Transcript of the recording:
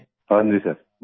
हाँ जी सर बहुत